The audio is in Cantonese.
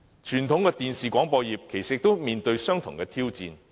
傳統的電視廣播業其實亦正面對相同的挑戰。